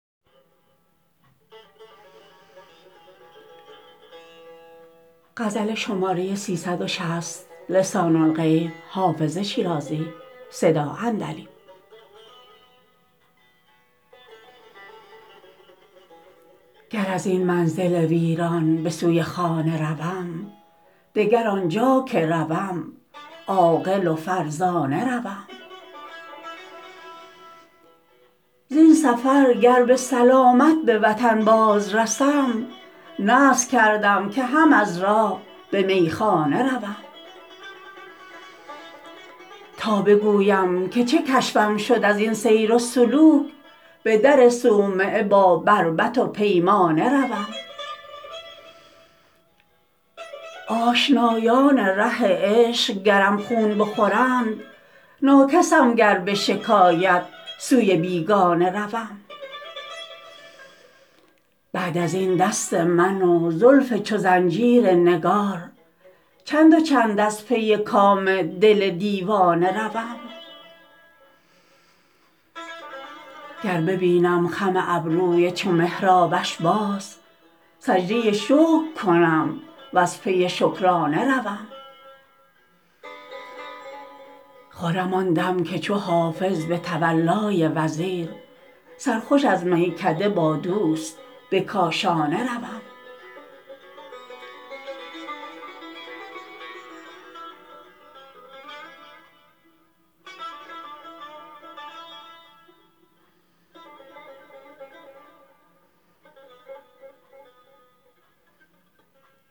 گر از این منزل ویران به سوی خانه روم دگر آنجا که روم عاقل و فرزانه روم زین سفر گر به سلامت به وطن باز رسم نذر کردم که هم از راه به میخانه روم تا بگویم که چه کشفم شد از این سیر و سلوک به در صومعه با بربط و پیمانه روم آشنایان ره عشق گرم خون بخورند ناکسم گر به شکایت سوی بیگانه روم بعد از این دست من و زلف چو زنجیر نگار چند و چند از پی کام دل دیوانه روم گر ببینم خم ابروی چو محرابش باز سجده شکر کنم و از پی شکرانه روم خرم آن دم که چو حافظ به تولای وزیر سرخوش از میکده با دوست به کاشانه روم